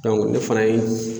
ne fana ye